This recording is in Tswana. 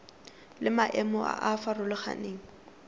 le maemo a a farologaneng